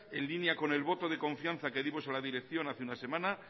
en línea con el voto de confianza que dimos a la dirección hace unas semanas